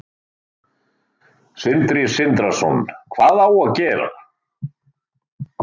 Sindri Sindrason: Hvað á að gera?